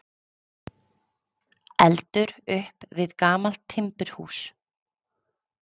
Eldur upp við gamalt timburhús